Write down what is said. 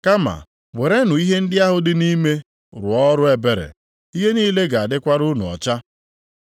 Kama werenụ ihe ndị ahụ dị nʼime rụọ ọrụ ebere, ihe niile ga-adịkwara unu ọcha.